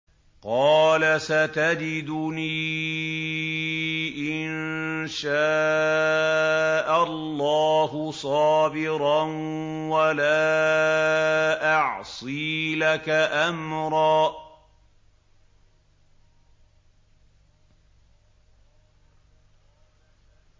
قَالَ سَتَجِدُنِي إِن شَاءَ اللَّهُ صَابِرًا وَلَا أَعْصِي لَكَ أَمْرًا